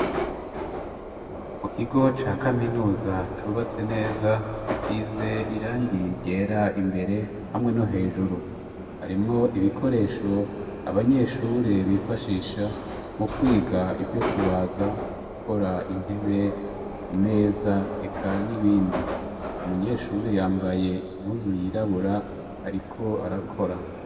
Mu kigo ca kaminuza cubatse neza. Gisize irangi ryera, imbere hamwe no hejuru, harimwo ibikoresho abanyeshuri bifashisha mu kwiga ivyo: kubaza, gukora intebe, imeza ,eka n'ibindi. Umunyeshuri yambaye impuzu yirabura ariko arakora.